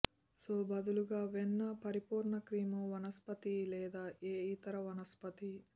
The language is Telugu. సో బదులుగా వెన్న పరిపూర్ణ క్రీమ్ వనస్పతి లేదా ఏ ఇతర వనస్పతి